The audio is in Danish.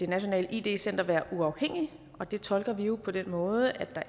nationalt id center være uafhængigt og det tolker vi jo på den måde at